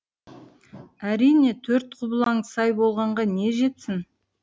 әрине төрт құбылаң сай болғанға не жетсін